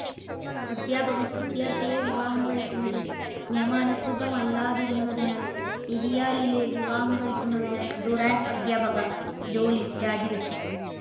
അദ്ധ്യാപകൻ വിദ്യാർത്ഥിയെ വിവാഹം കഴിക്കുന്നത് നിയമാനുസൃതമല്ലാതിരുന്നതിനാൽ, എരിയാലിലെ വിവാഹം കഴിക്കുന്നതിനായി ഡുറാൻ്റ് അധ്യാപക ജോലി രാജി വെച്ചു.